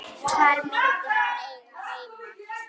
Hvar myndi hann eiga heima?